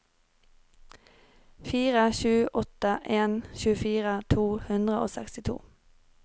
fire sju åtte en tjuefire to hundre og sekstito